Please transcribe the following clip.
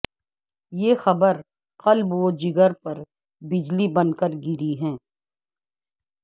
یہ خبر قلب و جگر پر بجلی بنکر گری ہے